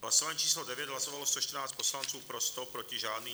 Hlasování číslo 9, hlasovalo 114 poslanců, pro 100, proti žádný.